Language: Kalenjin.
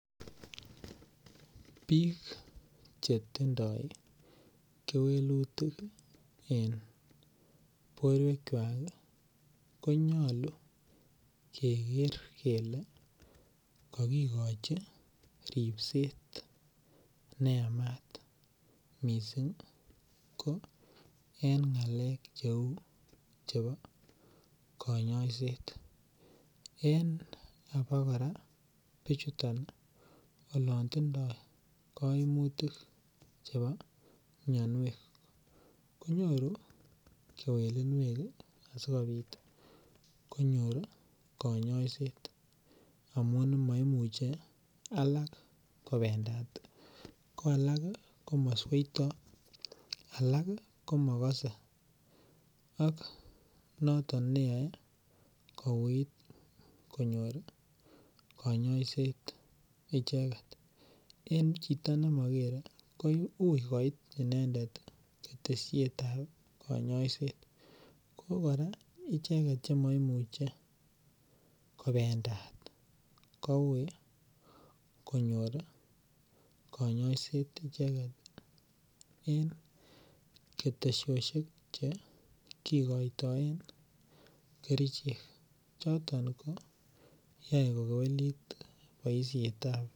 biik chetindoo kewelutik en borweek chwaak iih konyolu kegeer kele kogigochi ribseet mising en ngaleek cheeu chebo konyoiseet, en abokoraa bichuton olon tindoo koimutik chebo myonweek konyoru kewelinweek asigobiit konyoor koinyoiset amuun moimuche alaak kobendaat, ko alak komosweitoo alak iih komogose ak noton neyoe kouuit konyoor konyoiseet icheget, en chito nemogere kouii koit inendet ketesyeet ab koinyoiseet, ko koraa icheget chemoimuche kobendaat kouii konyoor koinyoiseet icheget en ketesosyeek chegikoitoen kerichek choton koyoen kogeweliit boisheet ab.